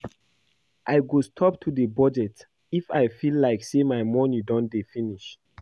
I go stop to dey budget if I feel like say my money don dey finish